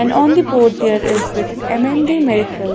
and on the board there is written M_N_D medicals.